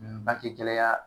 bange gɛlɛya